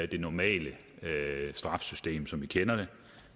det normale straffesystem som vi kender det